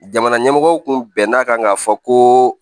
Jamana ɲɛmɔgɔw tun bɛn n'a kan ka fɔ ko